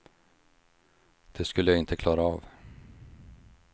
Det skulle jag inte klara av.